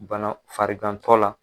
Bana farigantɔ la